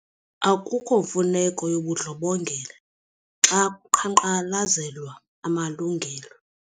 Akukho mfuneko yobundlobongela xa kuqhankqalazelwa amalungelo.